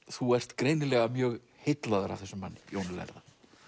þú ert greinilega mjög heillaður af þessum manni Jóni lærða